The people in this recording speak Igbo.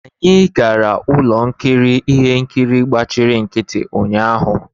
Anyị gara ụlọ nkiri ihe nkiri gbachiri nkịtị ụnyaahụ.